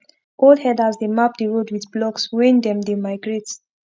old herders dey map the road with blocks wen them dey migrate